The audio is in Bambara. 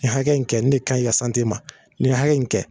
Nin hakɛ in kɛ nin ne kanɲi i ka sante ma nin hakɛ in kɛ